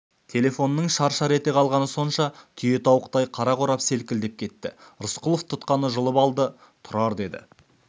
телефонның шар-шар ете қалғаны сонша түйетауықтай қара қорап селкілдеп кетті рысқұлов тұтқаны жұлып алды тұрар деді